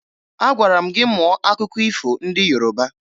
Agwara m gị mụọ akụkọ ifo ndị Yoroba!